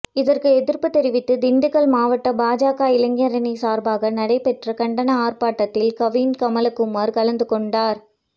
இதற்கு எதிர்ப்பு தெரிவித்து திண்டுக்கல் மாவட்ட பாஜக இளைஞரணி சார்பாக நடைபெற்ற கண்டன ஆர்ப்பாட்டத்தில் கவின்கமலக்குமார் கலந்து கொண்டார்